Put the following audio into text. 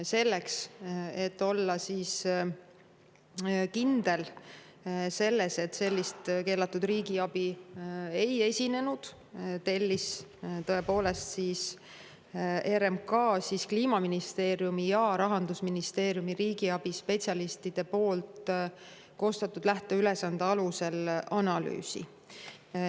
Selleks, et olla kindel, et sellist keelatud riigiabi ei esinenud, RMK tõepoolest tellis Kliimaministeeriumi ja Rahandusministeeriumi riigiabispetsialistide koostatud lähteülesande alusel analüüsi.